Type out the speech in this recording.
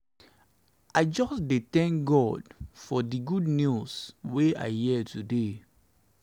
i just dey tank god for di good news wey i hear today.